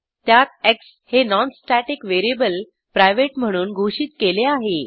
त्यात एक्स हे non static variable private म्हणून घोषित केले आहे